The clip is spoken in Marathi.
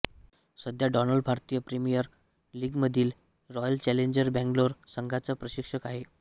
सध्या डॉनल्ड भारतीय प्रीमियर लीगमधील रॉयल चॅलेंजर्स बंगलोर संघाचा प्रशिक्षक आहे